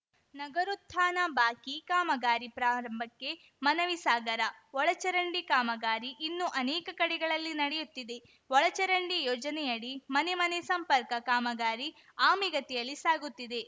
ನಗರೋತ್ಥಾನ ಬಾಕಿ ಕಾಮಗಾರಿ ಪ್ರಾರಂಭಕ್ಕೆ ಮನವಿ ಸಾಗರ ಒಳಚರಂಡಿ ಕಾಮಗಾರಿ ಇನ್ನು ಅನೇಕ ಕಡೆಗಳಲ್ಲಿ ನಡೆಯುತ್ತಿದೆ ಒಳಚರಂಡಿ ಯೋಜನೆಯಡಿ ಮನೆಮನೆ ಸಂಪರ್ಕ ಕಾಮಗಾರಿ ಆಮೆಗತಿಯಲ್ಲಿ ಸಾಗುತ್ತಿದೆ